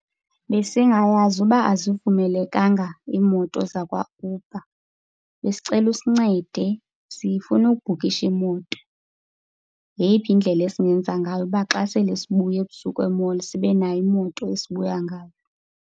Besingayazi uba azivumelekanga iimoto zakwaUber. Besicela usincede sifuna ukubhukhisha imoto. Yeyiphi indlela esingenza ngayo kuba xa sele sibuya ebusuku e-mall sibe nayo imoto esibuya ngayo?